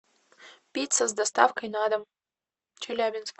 пицца с доставкой на дом челябинск